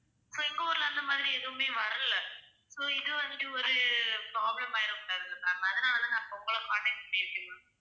So எங்க ஊர்ல அந்த மாதிரி எதுவுமே வரலை. So இது வந்துட்டு ஒரு problem ஆயிடக்கூடாதுல்ல ma'am அதனாலதான் நான் இப்ப உங்களை contact பண்ணி இருக்கேன் ma'am.